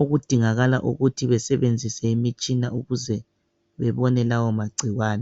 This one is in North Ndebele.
okudingakala ukuthi besebenzise imitshina ukuze bebone lawo magcikwane.